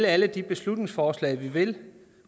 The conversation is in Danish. alle de beslutningsforslag vi vil